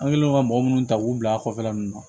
An kɛlen don ka mɔgɔ munnu ta k'u bila a kɔfɛla ninnu na